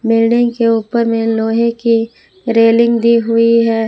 Building के ऊपर में लोहे की रेलिंग दी हुई है।